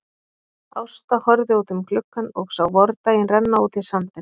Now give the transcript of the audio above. Ásta horfði út um gluggann og sá vordaginn renna út í sandinn.